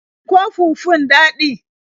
Shin ko fufun daɗi?